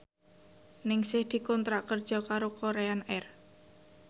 Ningsih dikontrak kerja karo Korean Air